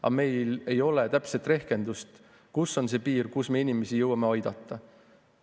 Ent meil ei ole täpset rehkendust, kus on see piir, kuhumaani me inimesi jõuame aidata.